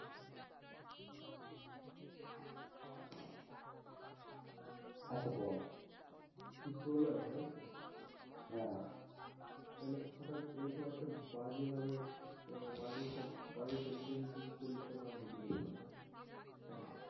আচ্ছা বল তুই প্রলয় তাই তো? হ্যাঁ তালে হটাৎ এরকম একটা বাজে ভাবে বাজে sentence use করলি কেনো, আমি যদি বলি না। কেনো?